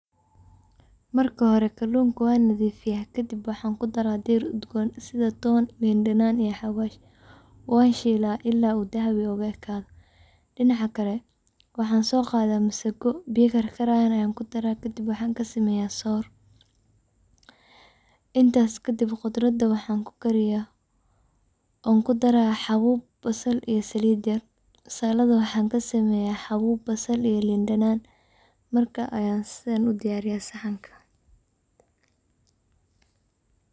Marka hore kalunka wan nadifiya kadib waxaan kudaraah diir udgon sida ton, lin danan iyo xawaj, wanshilaah ila uu dahabi ugaekado dinaca kale waxan soqadah masago biyo karkarayan an kudaraah , kadib waxan kasameyaah soor. Intas kadib kudrada waxaan kukariyaah oon kudaraah xawaj basal iyo salid yar salada waxaan kasameyaah xabub basal iyo lin danan markas an diyariyaah saxanka.